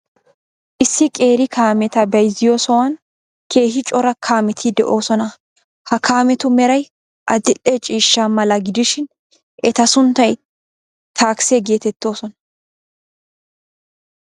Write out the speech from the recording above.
Issi qeeri kaameta bayzziyo sohuwan keehi cora kaameti de'oosona. Ha kaametu meray adil''e ciishsha mala gidishin, eta sunttay takise geetettoosona.